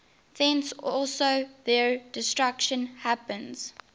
thence also their destruction happens